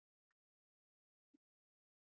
.